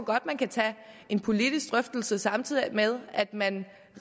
godt man kan tage en politisk drøftelse samtidig med at man